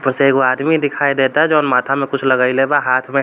उसे एगो आदमी दिखाई देता जो माथा में कुछ लगइले बा हाथ में --